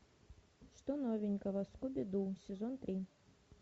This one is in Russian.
что новенького скуби ду сезон три